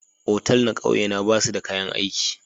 otal na kauye na ba su da kayan aiki.